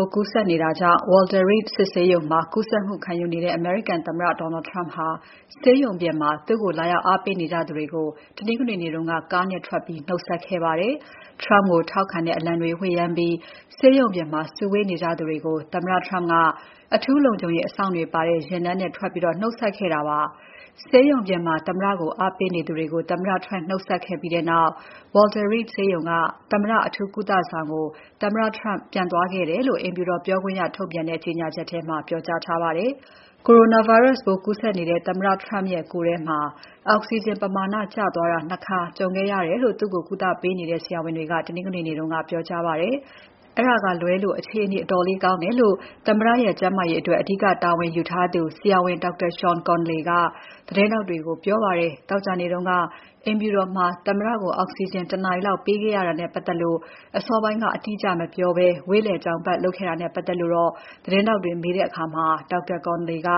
ိုးကူးစက်နေတာကြောင့် Walter Reed စစ်ဆေးရုံမှာ ကုသမှုခံယူနေတဲ့ အမေရိကန်သမ္မတ Donald Trump ဟာ ဆေးရုံပြင်မှာ သူ့ကို လာရောက်အားပေးနေကြသူတွေကို တနင်္ဂနွေနေ့က ကားနဲ့ထွက်ပြီး နှုတ်ဆက်ခဲ့ပါတယ်။ Trump ကိုထောက်ခံတဲ့အလံတွေ ဝှေ့ယမ်းပြီး ဆေးရုံပြင်မှာ စုဝေးနေကြသူတွေကို သမ္မတ Trump က အထူးလုံခြုံရေး အစောင့်တွေပါတဲ့ ယာဉ်တန်းနဲ့ ထွက်ပြီး နှုတ်ဆက်ခဲ့တာပါ။ ဆေးရုံပြင်မှာ သမ္မတကိုအားပေးနေသူတွေကို သမ္မတ ထွက်နှုတ်ဆက်ပြီးနောက် Walter Reed ဆေးရုံက သမ္မတအထူးကုသဆောင်ကို သမ္မတ Trump ပြန်သွားခဲ့တယ်လို့ အိမ်ဖြူတော် ပြောခွင့်ရထုတ်ပြန်တဲ့ ကြေညာချက်ထဲမှာ ပြောကြားထားပါတယ်။ Coronavirus ပိုးကူးစက်နေတဲ့ သမ္မတ Trump ရဲ့ ကိုယ်ထဲမှာ အောက်စီဂျင်ပမာဏ ကျသွားတာ ၂ ခါကြုံခဲ့ရတယ်လို့ သူ့ကို ကုသပေးနေတဲ့ ဆရာဝန်တွေက တနင်္ဂနွေနေ့က ပြောကြားပါတယ်။ အဲဒါကလွဲလို့ အခြေအနေ အတော်လေးကောင်းတယ်လို့ သမ္မတရဲ့ ကျန်းမာရေးအတွက် အဓိကတာဝန်ယူထားသူ ဆရာဝန် Dr. Sean Conley က သတင်းထောက်တွေကို ပြောပါတယ်။ သောကြာနေ့တုန်းက အိမ်ဖြူတော်မှာ သမ္မတကို အောက်စီဂျင် တနာရီလောက်ပေးခဲ့ရတာနဲ့ ပတ်သက်လို့ အစောပိုင်းက အတိအကျမပြောဘဲ ဝေ့လည်ကြောင်ပါတ်လုပ်ခဲ့တာနဲ့ ပတ်သက်လို့ သတင်းထောက်တွေက မေးရာမှာတော့ Dr. Conley က